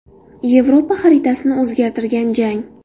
Yevropa xaritasini o‘zgartirgan jang.